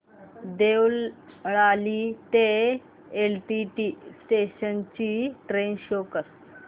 देवळाली ते LTT station ची train show कर